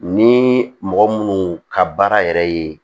Ni mɔgɔ munnu ka baara yɛrɛ ye